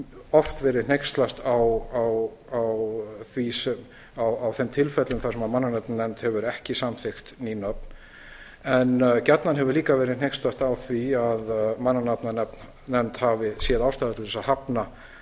oft verið hneykslast á þeim tilfellum þar sem mannanafnanefnd hefur ekki samþykkt ný nöfn en gjarnan hefur líka verið hneykslast á því að mannanafnanefnd hefur séð ástæðu til að hafna